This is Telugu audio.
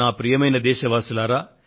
ప్రియమైన నా దేశ వాసులారా